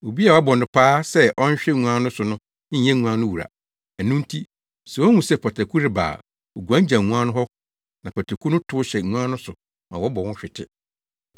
Obi a wɔabɔ no paa sɛ ɔnhwɛ nguan so no nyɛ nguan no wura; ɛno nti, sɛ ohu sɛ pataku reba a oguan gyaw nguan no hɔ, na pataku no tow hyɛ nguan no so ma wɔbɔ ahwete.